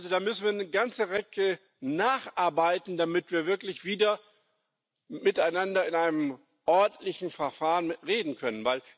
Also, da müssen wir eine ganze Ecke nacharbeiten, damit wir wirklich wieder miteinander in einem ordentlichen Verfahren reden können.